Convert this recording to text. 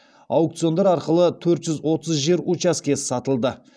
аукциондар арқылы төрт жүз отыз жер учаскесі сатылды